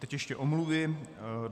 Teď ještě omluvy.